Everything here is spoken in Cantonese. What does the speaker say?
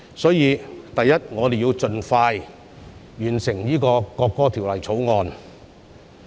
首先，我們要盡快完成《條例草案》。